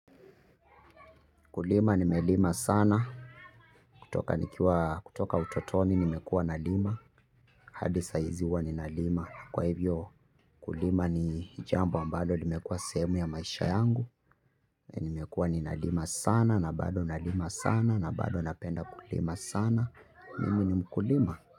Kulima nimelima sana kutoka utotoni nimekuwa na lima hadi saa hizi huwa na lima kwa hivyo kulima ni jambo ambalo limekuwa sehemu ya maisha yangu, nimekuwa ni na lima sana, na bado na lima sana, na bado napenda kulima sana, mimi ni mkulima.